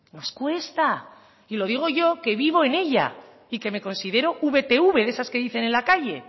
nos cuesta y lo digo yo que vivo en ella y que me considero vtv de esas que dicen en la calle